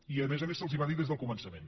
i a més a més se’ls va dir des del començament